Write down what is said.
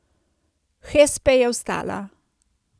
Hespe je vstala.